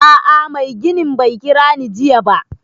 A'a mai ginin bai kira ni jiya ba